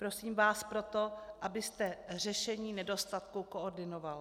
Prosím vás proto, abyste řešení nedostatků koordinoval.